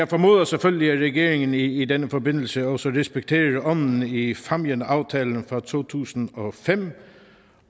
formoder selvfølgelig at regeringen i denne forbindelse også respekterer ånden i fámjinaftalen fra to tusind og fem